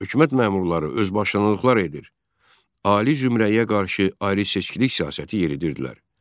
Hökumət məmurları özbaşınlıqlar edir, ali zümrəyə qarşı ayrıseçkilik siyasəti yeridirdilər.